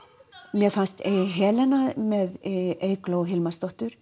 mér fannst Helena með Eygló Hilmarsdóttur